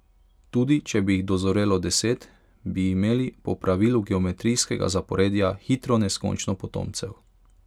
Tudi če bi jih dozorelo deset, bi imeli po pravilu geometrijskega zaporedja hitro neskončno potomcev.